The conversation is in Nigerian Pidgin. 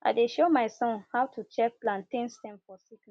i dey show my son how to check plantain stem for sickness